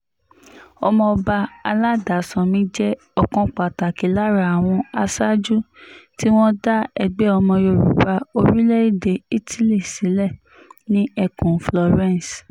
ọmọọba aládàsánmi jẹ́ ọ̀kan pàtàkì lára àwọn aṣáájú tí wọ́n dá ẹgbẹ́ ọmọ yorùbá orílẹ̀-èdè italy sílẹ̀ ní ẹkùn florence